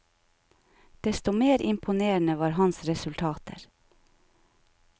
Desto mer imponerende var hans resultater.